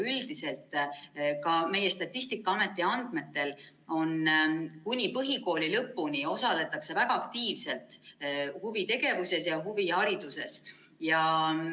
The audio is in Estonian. Üldiselt meie Statistikaameti andmetel on nii, et kuni põhikooli lõpuni osaletakse väga aktiivselt huvitegevuses ja huvihariduses.